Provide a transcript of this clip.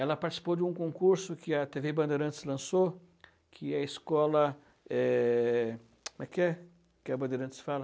Ela participou de um concurso que a tê vê Bandeirantes lançou, que é a escola eh... Como é que é que a Bandeirantes fala?